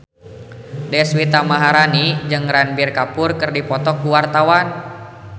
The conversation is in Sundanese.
Deswita Maharani jeung Ranbir Kapoor keur dipoto ku wartawan